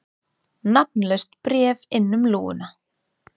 Nafnlaust bréf inn um lúguna